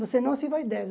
Você não se vai e.